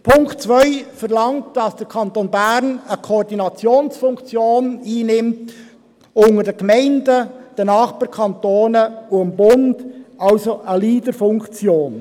Punkt 2 verlangt, dass der Kanton Bern eine Koordinationsfunktion unter den Gemeinden, den Nachbarkantonen und dem Bund einnimmt, also eine Leaderfunktion.